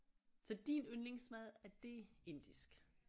Så din yndlingsmad er det indisk